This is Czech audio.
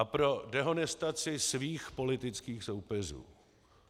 A pro dehonestaci svých politických soupeřů.